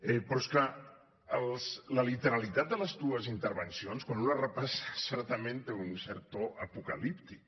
però és que la literalitat de les dues intervencions quan un les repassa certament té un cert to apocalíptic